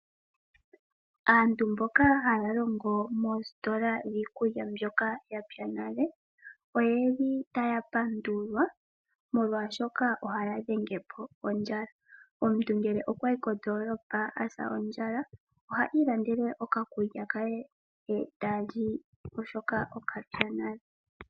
Aantu mboka haya longo moositola dhiikulya mbyoka ya pya nale, oye li taya pandulwa molwashoka ohaya dhenge po ondjala. Omuntu ngele okwa yi kondolopa a sa ondjala, oha ilandele oka kulya ke, e ta li oshoka okapya nale.